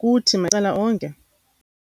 kuthi macala onke.